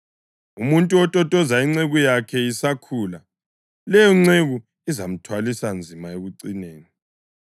Umuntu ototoza inceku yakhe isakhula, leyonceku izamthwalisa nzima ekucineni.